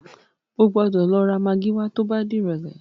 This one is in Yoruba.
O gbọ́dọ̀ lọ ra magí wá tó bá dìrọ̀lẹ́.